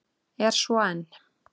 Er svo enn.